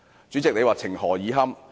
主席，這情何以堪？